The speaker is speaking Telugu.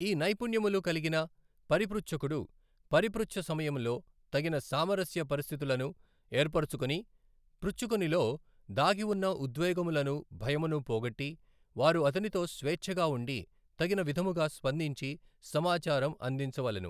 ఈ నైపుణ్యములు కల్గిన పరిపృచ్ఛకుడు పరిపృచ్ఛ సమయములో తగిన సామరస్య పరిస్థితులను ఏర్పరుచుకొని పృచ్ఛకునిలో దాగివున్న ఉద్వేగములను భయమును పోగొట్టి వారు అతనితో స్వేచ్ఛగా వుండి తగిన విధముగా స్పందించి సమాచారం అందించవలెను.